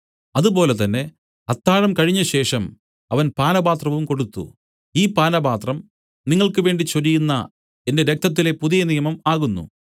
അതുപോലെ തന്നെ അത്താഴം കഴിഞ്ഞശേഷം അവൻ പാനപാത്രവും കൊടുത്തു ഈ പാനപാത്രം നിങ്ങൾക്ക് വേണ്ടി ചൊരിയുന്ന എന്റെ രക്തത്തിലെ പുതിയനിയമം ആകുന്നു